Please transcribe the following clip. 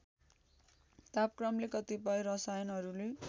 तापक्रमले कतिपय रसायनहरूले